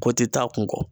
Ko ti taa kun kɔ